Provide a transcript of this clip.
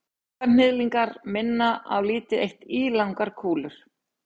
manganhnyðlingar minna á lítið eitt ílangar kúlur